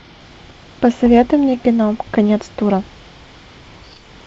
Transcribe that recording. посоветуй мне кино конец тура